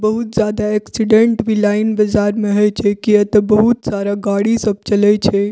बहुत ज्यादा एक्सीडेंट भी लाइन बजार में होई छई केतो बहुत सारा गाड़ी सब चलाई छे।